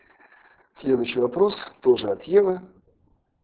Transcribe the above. следующий вопрос тоже от евы